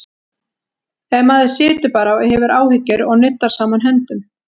Ef maður situr bara og hefur áhyggjur og nuddar saman höndum?